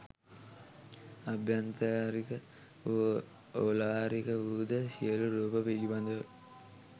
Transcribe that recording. අභ්‍යන්තරික වූ ඕලාරික වූ ද සියලු රූප පිළිබඳව